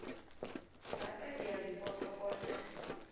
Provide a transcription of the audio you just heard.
lapha ngiyazibopha bona